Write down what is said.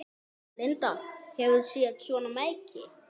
Linda: Hefurðu séð svona merki?